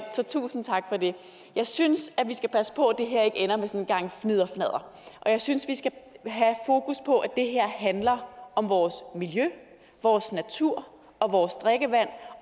så tusind tak for det jeg synes vi skal passe på at det her ikke ender med sådan en gang fnidderfnadder og jeg synes vi skal have fokus på at det her handler om vores miljø vores natur og vores drikkevand